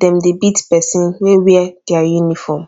dem dey beat person wey wear dia uniform